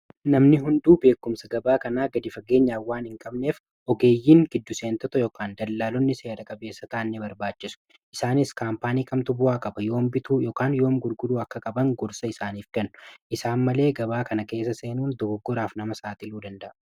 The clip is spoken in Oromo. Namni hunduu beekumsa gabaa kanaa gad faggeenya waan hin qabneef ogeeyyiin giddu seentota yookaan dallaalonni seera-qabeessa kaan ni barbaachisu. Isaanis kaampaanii kamtuu bu'aa qaba yoom bituu yoom gurguruu akka qaban gorsa isaaniif kannu isaan malee gabaa kana keessa seenuun dogoggoraaf nama saaxiiluu danda'a.